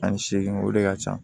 Ani seegin o de ka ca